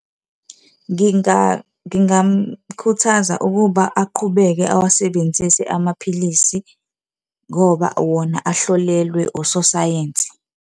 Ngingamkhuthaza ukuba aqhubeke awasebenzise amaphilisi ngoba wona ahlolelwe ososayensi.